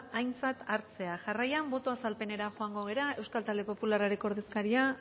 aintzat hartzea jarraian boto azalpenera joango gara euskal talde popularraren ordezkaria